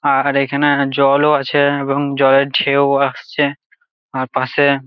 আর এখানা জল ও আছে এবং জলের ঢেউ আসছে আর পাশে--